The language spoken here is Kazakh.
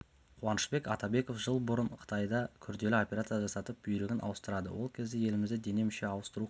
қуанышбек атабеков жыл бұрын қытайда күрделі операция жасатып бүйрегін ауыстырады ол кезде елімізде дене-мүше ауыстыру қиын